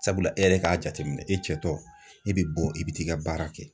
Sabula e yɛrɛ k'a jateminɛ, e cɛ tɔ e bɛ bɔ i bɛ t'i ka baara kɛ.